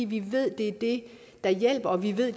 vi ved at det er det der hjælper vi ved